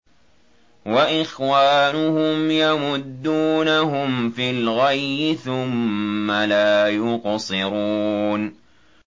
وَإِخْوَانُهُمْ يَمُدُّونَهُمْ فِي الْغَيِّ ثُمَّ لَا يُقْصِرُونَ